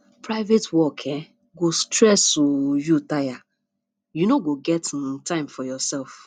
private work um go stress um you tire you no go get um time for yoursef